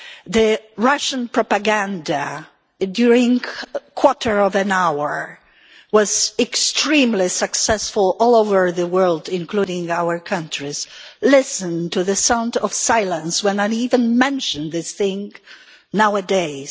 The Russian propaganda in the first quarter of an hour afterwards was extremely successful all over the world, including in our countries. Listen to the sound of silence whenever I even mention this thing nowadays.